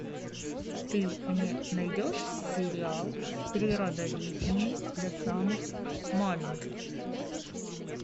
ты мне найдешь сериал природоведение для самых маленьких